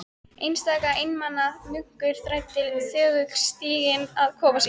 Einstaka einmana munkur þræddi þögull stíginn að kofa sínum.